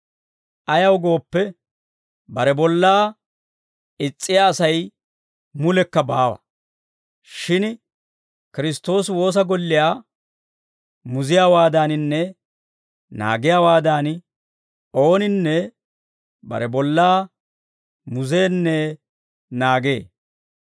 Ayaw gooppe, bare bollaa is's'iyaa Asay mulekka baawa; shin Kiristtoosi woosa golliyaa muziyaawaadaaninne naagiyaawaadan ooninne bare bollaa muzeenne naagee.